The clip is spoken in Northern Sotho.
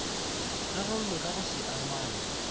rarollwe ka go se amanywe